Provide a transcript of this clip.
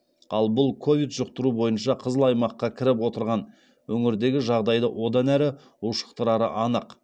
ал бұл ковид жұқтыру бойынша қызыл аймаққа кіріп отырған өңірдегі жағдайды одан әрі ушықтырары анық